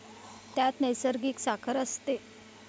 त्यात नैसर्गिक साखर असते.